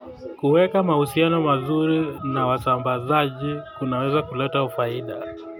Kuweka mahusiano mazuri na wasambazaji kunaweza kuleta faida.